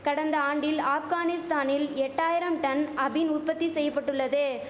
கடந்த ஆண்டில் ஆப்கானிஸ்தானில் எட்டாயிரம் டன் அபின் உற்பத்தி செய்யபட்டுள்ளது